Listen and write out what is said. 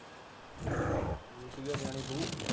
ਰੋਟੀ ਤਾਂ ਲਜਾਉਣੀ ਪਓ।